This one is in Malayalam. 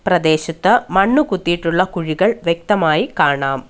പ്രദേശത്ത് മണ്ണു കുത്തിയിട്ടുള്ള കുഴികൾ വ്യക്തമായി കാണാം.